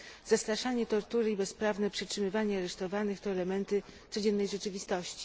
Zastraszanie, tortury i bezprawne przetrzymywanie aresztowanych to elementy codziennej rzeczywistości.